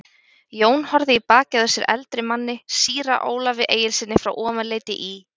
Jón horfði í bakið á sér eldri manni, síra Ólafi Egilssyni frá Ofanleiti í